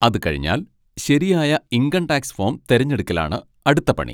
അതുകഴിഞ്ഞാൽ ശരിയായ income tax form തെരഞ്ഞെടുക്കലാണ് അടുത്ത പണി.